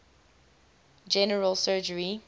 general surgery